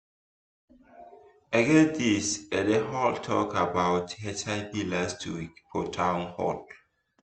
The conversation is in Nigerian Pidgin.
e get this eh dem hold talk about hiv last week for town hall